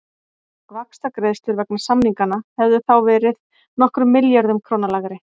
Vaxtagreiðslur vegna samninganna hefðu þá verið nokkrum milljörðum króna lægri.